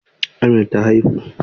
Amina ta haifu?